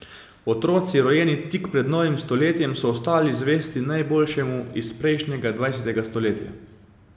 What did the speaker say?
Otroci, rojeni tik pred novim stoletjem, so ostali zvesti najboljšemu iz prejšnjega, dvajsetega stoletja.